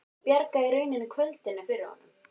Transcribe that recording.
Hún bjargaði í rauninni kvöldinu fyrir honum.